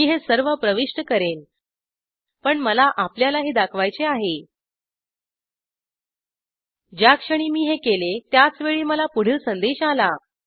मी हे सर्व प्रविष्ट करेन पण मला आपल्याला हे दाखवायचे आहे ज्या क्षणी मी हे केले त्याचवेळी मला पुढील संदेश आला